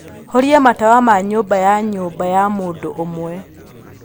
Horia matawa ma nyũmba ya nyũmba ya mũndũ ũmwe